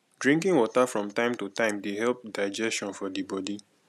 drinking water from time to time dey help digestion for di bodi